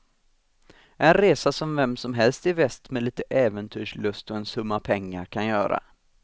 En resa som vem som helst i väst med lite äventyrslust och en summa pengar kan göra.